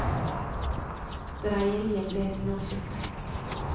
Dreieriet ble det nå slutt med.